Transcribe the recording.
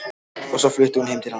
Og svo flutti hún heim til hans.